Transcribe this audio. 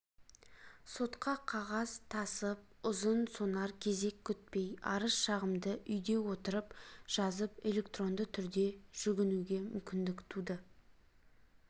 сотқа қағаз тасып ұзын сонар кезек күтпей арыз-шағымды үйде отырып жазып электронды түрде жүгінуге мүмкіндік туды